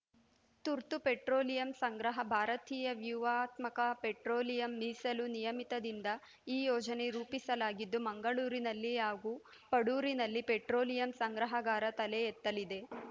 ತುರ್ತು ಪೆಟ್ರೋಲಿಯಂ ಸಂಗ್ರಹ ಭಾರತೀಯ ವ್ಯೂವಹಾತ್ಮಕ ಪೆಟ್ರೋಲಿಯಂ ಮೀಸಲು ನಿಯಮಿತದಿಂದ ಈ ಯೋಜನೆ ರೂಪಿಸಲಾಗಿದ್ದು ಮಂಗಳೂರಿನಲ್ಲಿ ಹಾಗೂ ಪಡೂರಿನಲ್ಲಿ ಪೆಟ್ರೋಲಿಯಂ ಸಂಗ್ರಹಗಾರ ತಲೆ ಎತ್ತಲಿದೆ